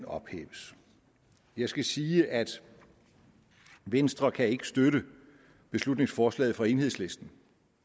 ophæves jeg skal sige at venstre ikke kan støtte beslutningsforslaget fra enhedslisten